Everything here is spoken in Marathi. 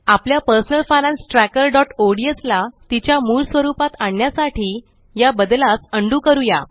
आपल्या personal finance trackerओडीएस ला तिच्या मूळ स्वरुपात आणण्यासाठी या बदलास अंडू करूया